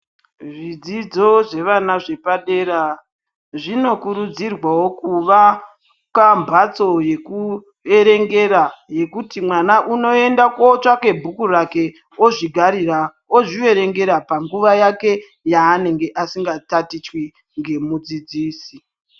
Zvidzidzo zvevana zvepadera , zvino kurudzirwawo kuvaka mhatso yekuerengera, yekuti mwana unoenda kotsvake bhuku rake, ozvigarira, ozviverengera panguwa yake yaanenge asinga tatichwi ngemudzidzisi.